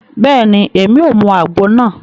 Bẹẹni, Èmí o mú àgbo náà